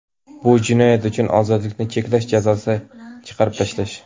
bu jinoyat uchun ozodlikni cheklash jazosini chiqarib tashlash;.